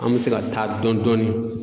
An bɛ se ka taa dɔn dɔɔni.